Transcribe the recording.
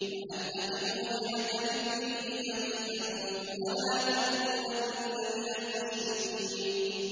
وَأَنْ أَقِمْ وَجْهَكَ لِلدِّينِ حَنِيفًا وَلَا تَكُونَنَّ مِنَ الْمُشْرِكِينَ